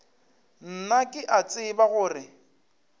nna ke a tseba gore